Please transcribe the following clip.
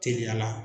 Teliya la